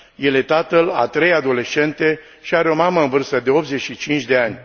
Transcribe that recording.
El este tatăl a trei adolescente și are o mamă în vârstă de 85 de ani.